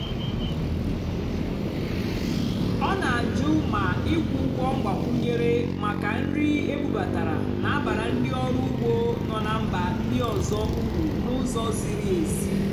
ọ́ nà-àjụ́ mà ị́kwụ́ ụ́gwọ́ mgbàkwúnyéré màkà nrì ébúbátàrá nà-àbàrà ndí ọ́rụ́ ùgbó nọ́ nà mbà ndí ọ́zọ́ ùrù n'ụ́zọ̀ zìrí ézí.